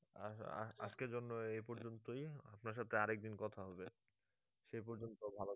আজ আজ আজকের জন্য এই পর্যন্তই আপনার সাথে আরেকদিন কথা হবে সেই পর্যন্ত ভালো থেকো।